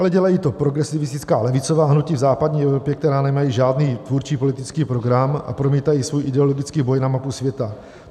Ale dělají to progresivistická levicová hnutí v západní Evropě, která nemají žádný tvůrčí politický program a promítají svůj ideologický boj na mapu světa.